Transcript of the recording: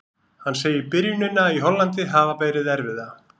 Hann segir byrjunina í Hollandi hafa verið erfiða.